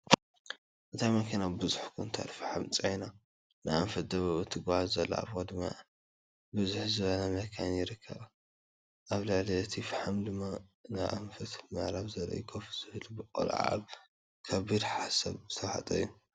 እታ መኪና ብዙሕ ኩንታል ፈሓም ፅዒና ንኣንፈት ደቡብ እትጓዓዝ ዘላ ኣብ ቅድሚኣ ብዝሕ ዝብላ መካይን ይርከባ ኣብ ልዕሊ እቲ ፈሓም ድማ ንኣንፈት ምዕራብ ዝርኢ ኮፍ ዝብለ ቆልዓ ኣብ ከቢድ ሓሳብ ዝተወሓጠ እዩ፡፡